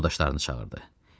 Yoldaşlarını çağırdı.